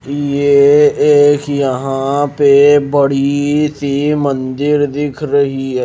यह एक यहां पे बड़ी सी मंदिर दिख रही है।